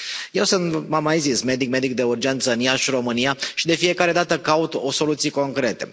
Eu sunt, v am mai zis, medic, medic de urgență în Iași România, și de fiecare dată caut soluții concrete.